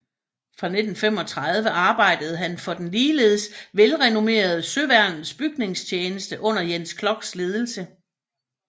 Fra 1935 arbejdede han for den ligeledes velrenommerede Søværnets Bygningstjeneste under Jens Kloks ledelse